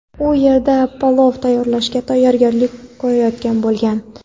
u yerda palov tayyorlashga tayyorgarlik ko‘rayotgan bo‘lgan.